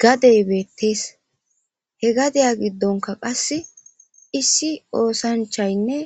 gadey beettees he gadaya giddonka qasse issi oosanchaynne